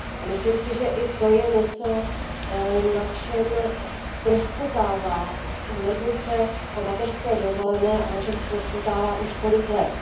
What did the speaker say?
A myslím si, že i to je něco, na čem ztroskotává směrnice o mateřské dovolené a na čem ztroskotává už několik let.